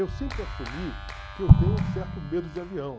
Eu sempre assumi que eu tenho um certo medo de avião.